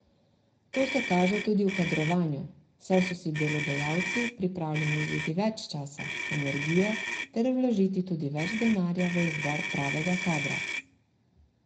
To se kaže tudi v kadrovanju, saj so si delodajalci pripravljeni vzeti več časa, energije ter vložiti tudi več denarja v izbor pravega kadra.